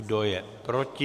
Kdo je proti?